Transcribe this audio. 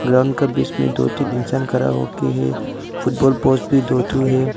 Ground का बीच में दो तीन इंसान खड़ा होके है फुटबॉल पोस्ट भी दो ठो है।